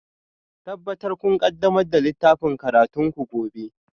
Tabbatar kun ƙaddamar da littafin karatunku gobe